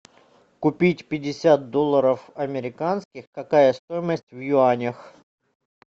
купить пятьдесят долларов американских какая стоимость в юанях